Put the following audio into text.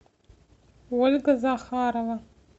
ольга захарова